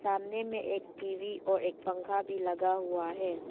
सामने में एक टी_वी और एक पंखा भी लगा हुआ हैं।